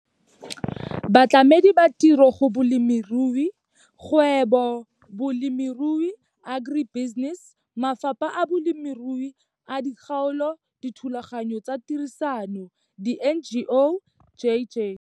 Batlamedi ba ditiro go bolemirui - Kgwebo-Bolemirui, Agri-Business, mafapha a bolemirui a dikgaolo, dithulaganyo tsa tirisano, diNGO, j.j.